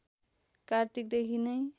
कार्तिक देखि नै